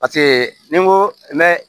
ni n ko ne